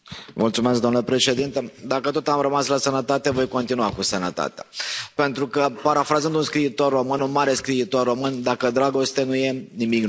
Domnule președinte, dacă tot am rămas la sănătate, voi continua cu sănătatea, pentru că, parafrazând un mare scriitor român, dacă dragoste nu e, nimic nu e.